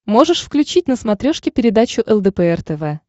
можешь включить на смотрешке передачу лдпр тв